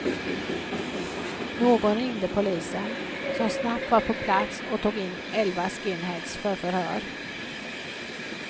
Någon ringde polisen, som snabbt var på plats och tog in elva skinheads för förhör.